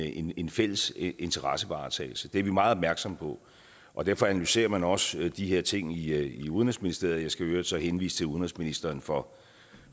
en en fælles interessevaretagelse det er vi meget opmærksomme på og derfor analyserer man også de her ting i i udenrigsministeriet jeg skal i øvrigt så henvise til udenrigsministeren for